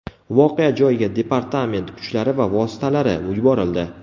Voqea joyiga departament kuchlari va vositalari yuborildi.